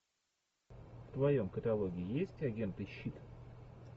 в твоем каталоге есть агенты щит